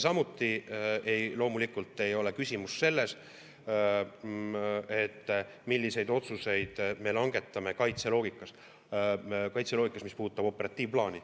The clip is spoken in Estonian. Samuti loomulikult ei ole küsimus selles, milliseid otsuseid me langetame kaitseloogikas, mis puudutab operatiivplaani.